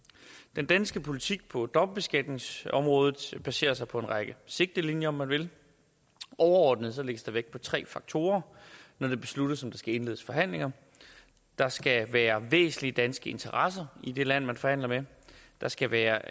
den danske politik på dobbeltbeskatningsområdet baserer sig på en række sigtelinjer om man vil overordnet lægges der vægt på tre faktorer når det besluttes om der skal indledes forhandlinger der skal være væsentlige danske interesser i det land man forhandler med der skal være